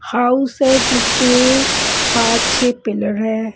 House है जिसके पाँच छः पिलर हैं।